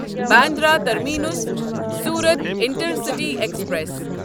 Bandra terminus Surat intercity express